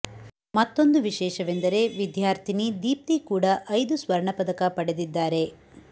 ಮತ್ತೊಂದು ವಿಶೇಷವೆಂದರೆ ವಿದ್ಯಾರ್ಥಿನಿ ದೀಪ್ತಿ ಕೂಡ ಐದು ಸ್ವರ್ಣ ಪದಕ ಪಡೆದಿದ್ದಾರೆ